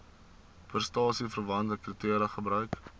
prestasieverwante kriteria gebruik